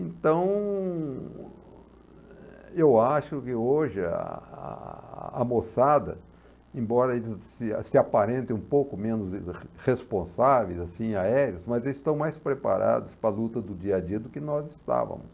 Então, eu acho que hoje a a a moçada, embora se se aparentem um pouco menos responsáveis aéreos, mas estão mais preparados para a luta do dia a dia do que nós estávamos.